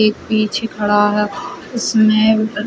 एक पीछे खड़ा है इसमें --